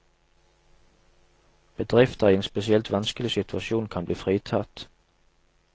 Bedrifter i en spesielt vanskelig situasjon kan bli fritatt.